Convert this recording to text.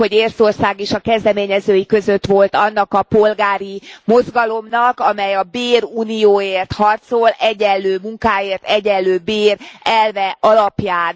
Tudjuk, hogy Észtország is a kezdeményezői között volt annak a polgári mozgalomnak, amely a bérunióért harcol egyenlő munkáért egyenlő bér elve alapján.